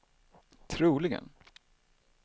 troligen